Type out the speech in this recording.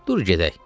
Dur gedək.